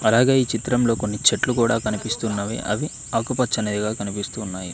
రాగాయి చిత్రంలో కొన్ని చెట్లు కూడా కనిపిస్తున్నవి అవి ఆకుపచ్చనిదిగా కనిపిస్తూ ఉన్నాయి.